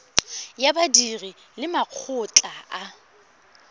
ya badiri le makgotla a